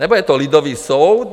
Nebo je to lidový soud?